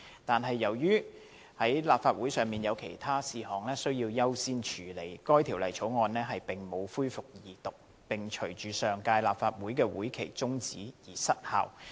但是，由於立法會有其他事項須優先處理，該條例草案並無恢復二讀辯論，並隨上屆立法會會期中止而失效。